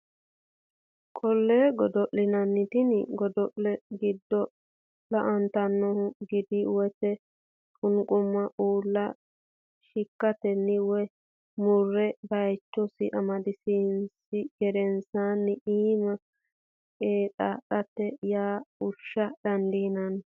Qollee godo linanni Tini godo le godo lantannohu gide woyte qunquma uulla shiikkatenni woy murre baychosi amadisiinsi gedensaanni iima qeedatenni yoo fushsha dandiinanni.